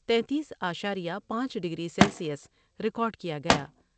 تینتیس اعشاریہ پانچ ڈگری سیلسیس ریکارڈ کیا گیا ۔